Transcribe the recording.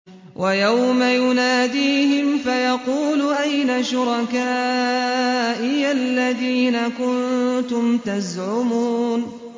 وَيَوْمَ يُنَادِيهِمْ فَيَقُولُ أَيْنَ شُرَكَائِيَ الَّذِينَ كُنتُمْ تَزْعُمُونَ